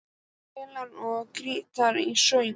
Hann spilaði á gítar og söng.